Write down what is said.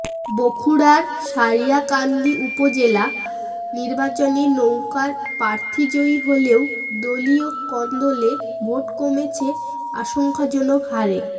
বগুড়ার সারিয়াকান্দি উপজেলা নির্বাচনে নৌকার প্রার্থী জয়ী হলেও দলীয় কোন্দলে ভোট কমেছে আশঙ্কাজনক হারে